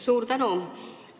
Suur tänu!